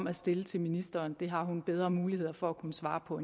at stille til ministeren det har hun bedre muligheder for at kunne svare på